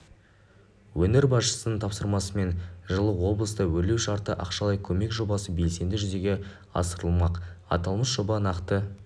өңір басшысының тапсырмасымен жылы облыста өрлеу шартты ақшалай көмек жобасы белсенді жүзеге асырылмақ аталмыш жоба нақты